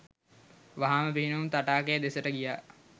වහාම පිහිනුම් තටාකය දෙසට ගියා..